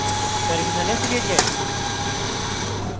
terminal ফিরে যাই